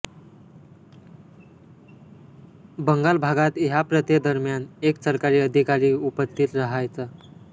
बंगाल भागात ह्या प्रथे दर्म्यान एक सरकारी अधीकारी उपस्थीत राहायचा